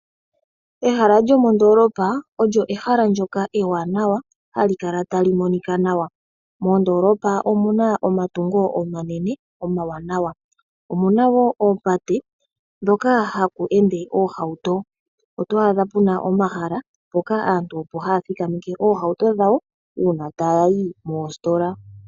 Ehala lyomoondoolopa olyo ehala ndyoka ewanawa hali kala tali monika nawa. Mondoolopa omuna omatungo omanene omawanawa. Omuna wo oopate dhoka haku ende omahauto, oto adha puna omahala mpoka aantu opo haya thikameke omahauto gawo uuna taya yi koositola.